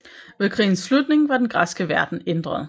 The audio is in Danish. Ved krigens slutning var den græske verden ændret